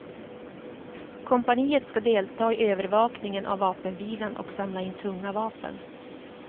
Kompaniet ska delta i övervakningen av vapenvilan och samla in tunga vapen.